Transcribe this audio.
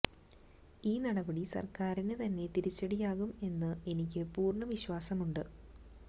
ഈ നടപടി സര്ക്കാരിന് തന്നെ തിരിച്ചടിയാകും എന്ന് എനിക്ക് പൂര്ണ വിശ്വാസമുണ്ട്